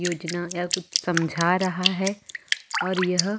योजना यह कुछ समझा रहा है और यह --